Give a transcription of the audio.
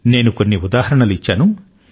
నేను కొన్ని ఉదాహరణలు ఇచ్చాను